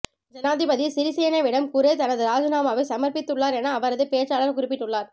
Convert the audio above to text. ஜனாதிபதி சிறிசேனவிடம் குரே தனது இராஜினாமாவை சமர்ப்பித்துள்ளார் என அவரது பேச்சாளர் குறிப்பிட்டுள்ளார்